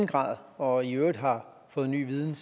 grad og i øvrigt har fået ny viden